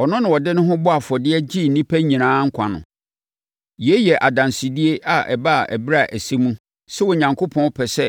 Ɔno na ɔde ne ho bɔɔ afɔdeɛ de gyee nnipa nyinaa nkwa no. Yei yɛ adansedie a ɛbaa ɛberɛ a ɛsɛ mu sɛ Onyankopɔn pɛ sɛ